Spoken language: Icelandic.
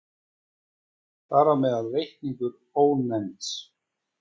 Þar á meðal reikningurinn Ónefnds.